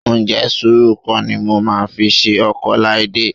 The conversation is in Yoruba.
Ǹjẹ́ sùúrù kọ́ ni mo máa fi ṣe ọkọ Ọláídé?